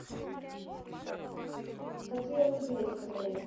какие лыжи есть в отеле